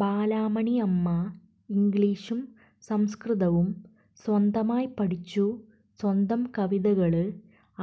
ബാലാമണി അമ്മ ഇംഗ്ലീഷും സംസ്കൃതവും സ്വന്തമായി പഠിച്ചു സ്വന്തം കവിതകള്